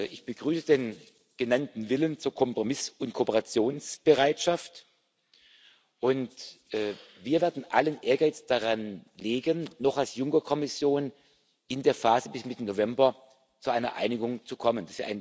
Ich begrüße den genannten Willen zur Kompromiss und Kooperationsbereitschaft, und wir werden allen Ehrgeiz daransetzen, noch als Juncker Kommission in der Phase bis Mitte November zu einer Einigung zu kommen.